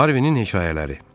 Harvinin hekayələri.